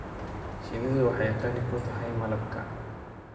Shinnidu waxay qani ku tahay malabka.